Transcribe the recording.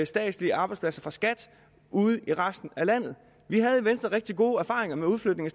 statslige arbejdspladser fra skat ude i resten af landet vi havde i venstre rigtig gode erfaringer med udflytning